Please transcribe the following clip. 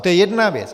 To je jedna věc.